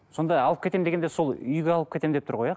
сонда алып кетемін дегенде сол үйге алып кетемін деп тұр ғой иә